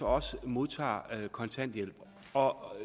også modtager kontanthjælp